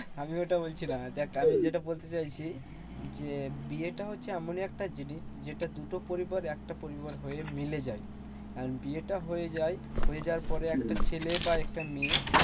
আমি ওটা বলছি না দেখ আমি যেটা বলতে চাইছি যে, বিয়েটা হচ্ছে এমনই একটা জিনিস যেটা দুটো পরিবার একটা পরিবার হয়ে মিলে যায়। আর বিয়েটা হয়ে যায়। হয়ে যাওয়ার পরে একটা ছেলে বা একটা মেয়ে